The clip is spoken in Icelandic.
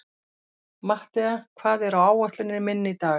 Mattea, hvað er á áætluninni minni í dag?